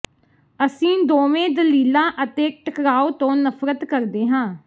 ਅਸੀਂ ਦੋਵੇਂ ਦਲੀਲਾਂ ਅਤੇ ਟਕਰਾਉ ਤੋਂ ਨਫ਼ਰਤ ਕਰਦੇ ਹਾਂ